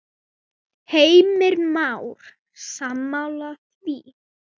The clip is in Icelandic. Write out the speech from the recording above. Heimir Már: Sammála því?